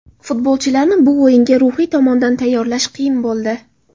Futbolchilarni bu o‘yinga ruhiy tomondan tayyorlash qiyin bo‘ldi.